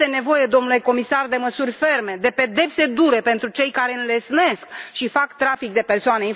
Este nevoie, domnule comisar, de măsuri ferme, de pedepse dure pentru cei care înlesnesc și fac trafic de persoane.